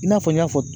I n'a fɔ n y'a fɔ